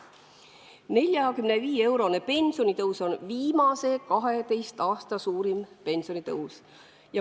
45-eurone pensionitõus on viimase 12 aasta suurim pensionitõus.